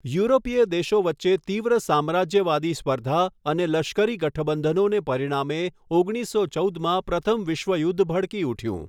યુરોપીય દેશો વચ્ચે તીવ્ર સામ્રાજ્યવાદી સ્પર્ધા અને લશ્કરી ગઠબંધનોને પરિણામે ઓગણીસો ચૌદમાં પ્રથમ વિશ્વયુદ્ધ ભડકી ઉઠયું.